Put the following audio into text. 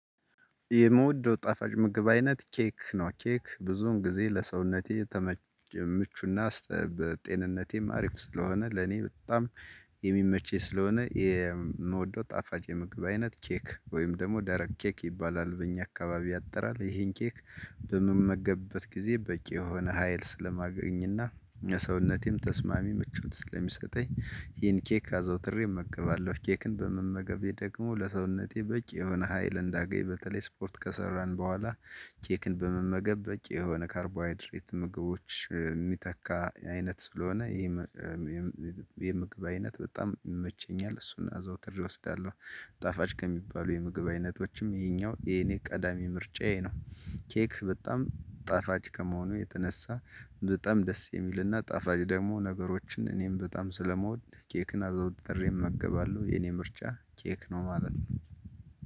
የምወደው ጣፋጭ ምግብ አይነት ኬክ ነው ኬክ ብዙን ጊዜ ለሰውነቴ ምቹና ጤንነቴም አሪፍ ስለሆነ ለኔ በጣም የሚመችኝ ስለሆነ የምወደው ጣፋጭ የምግብ አይነት ኬክ ወይም ደግሞ ደረቅ ኬክ ይባላል በእኛ አካባቢ ያጥራል ይሄ ኬክ በምመገብበት ጊዜ በቂ የሆነ ሀይል ስለማገኝና ሰውነቴም ተስማሚ ምቾት ስለሚሰጠኝ ይሄን ኬክ አዘውትሬ እመገባለሁ ኬክን በመመገቤ ደግሞ ለሰውነቴ በቂ የሆነ ሀይል እንዳገኝ በተለይ ስፖርት ከሰራን በኋላ ኬክን በመመገብ በቂ የሆነ ካርቦሃይድሬት ምግቦች የሚተካ አይነት ስለሆነ ይሄ የምግብ አይነት በጣም ይመቸኛል እሱን አዘውትሬ እወስዳለሁ። ጣፋጭ ከሚባሉ የምግብ አይነቶችም ይሄኛው የኔ ቀዳሚ ምርጫዬ ነው። ኬክ በጣም ጣፋጭ ከመሆኑ የተነሳ በጣም ደስ የሚልና ጣፋጭ ደግሞ ነገሮችን እኔም በጣም ስለምወድ ኬክን አዘውትሬ እመገባለሁ የኔ ምርጫ ኬክ ነው ማለት ነው